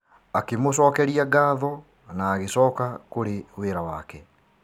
Akĩ mũcokeria ngatho na agĩcoka kũrĩ wĩra wake.